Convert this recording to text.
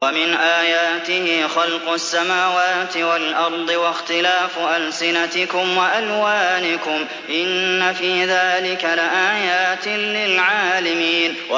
وَمِنْ آيَاتِهِ خَلْقُ السَّمَاوَاتِ وَالْأَرْضِ وَاخْتِلَافُ أَلْسِنَتِكُمْ وَأَلْوَانِكُمْ ۚ إِنَّ فِي ذَٰلِكَ لَآيَاتٍ لِّلْعَالِمِينَ